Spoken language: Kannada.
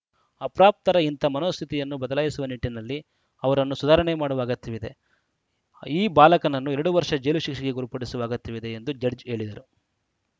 ಅಪ್ರಾಪ್ತರ ಇಂಥ ಮನೋಸ್ಥಿತಿಯನ್ನು ಬದಲಾಯಿಸುವ ನಿಟ್ಟಿನಲ್ಲಿ ಅವರನ್ನು ಸುಧಾರಣೆ ಮಾಡುವ ಅಗತ್ಯವಿದೆ ಈ ಬಾಲಕನನ್ನು ಎರಡು ವರ್ಷ ಜೈಲು ಶಿಕ್ಷೆಗೆ ಗುರಿಪಡಿಸುವ ಅಗತ್ಯವಿದೆ ಎಂದು ಜಡ್ಜ್‌ ಹೇಳಿದರು